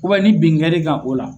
ni binkɛl'i kan o la.